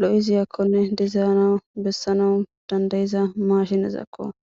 lo7iziyakkonne dizayna bessana dandayiza mashinezakko